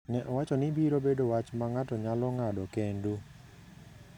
ne owacho ni biro bedo wach ma ng’ato nyalo ng’ado kendo.